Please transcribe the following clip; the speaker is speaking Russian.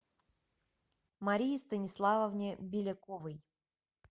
марии станиславовне беляковой